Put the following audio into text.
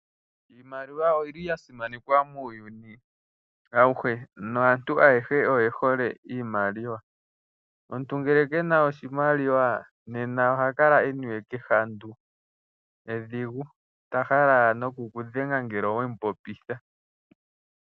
Iimaliwa oyili ya simanekwa muuyuni ahuhe, naantu ayehe oye hole iimaliwa. Omuntu ngele kena oshimaliwa nena oha kala eniwe kehandu edhigu, ta hala owala nokukudhenga ngele owemu popitha.